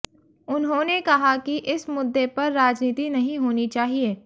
उन्होंने कहा कि इस मुद्दे पर राजनीति नहीं होनी चाहिए